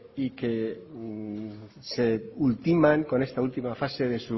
y que se ultiman con esta última fase de